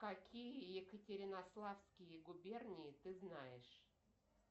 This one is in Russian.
какие екатеринославские губернии ты знаешь